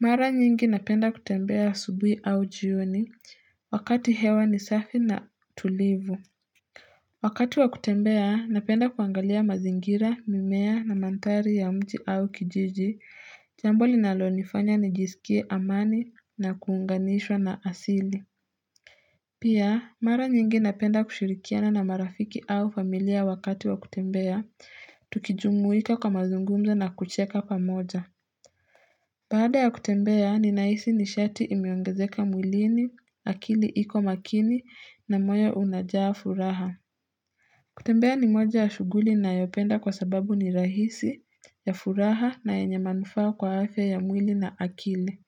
Mara nyingi napenda kutembea asubuhi au jioni, wakati hewa ni safi na tulivu Wakati wa kutembea, napenda kuangalia mazingira, mimea na manthari ya mji au kijiji, jambo linalo nifanya nijisikie amani na kuunganishwa na asili. Pia, mara nyingi napenda kushirikiana na marafiki au familia wakati wa kutembea, tukijumuika kwa mazungumzo na kucheka pamoja. Baada ya kutembea, ninahisi nishati imeongezeka mwilini, akili iko makini na moyo unajaa furaha. Kutembea ni moja ya shuguli nayopenda kwa sababu ni rahisi, ya furaha na yenye manufaa kwa afya ya mwili na akili.